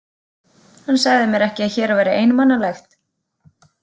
Hann sagði mér ekki að hér væri einmanalegt.